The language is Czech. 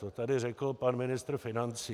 To tady řekl pan ministr financí.